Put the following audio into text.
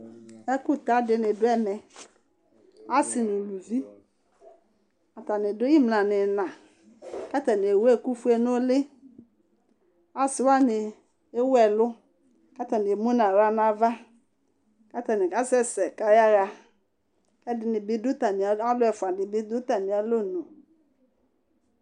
Ɛku ta dini dù ɛmɛ, asi n'uluvi atani dù imla n'ina, k'atani ewu ɛku fue n'ũli, asiwani ewu ɛlu k'atani emu n'aɣla n'ava k'atani ka sɛ̃sɛ k'ayaha, k'ɛdi bi, k' alu ɛfu di bi du atamialɔnu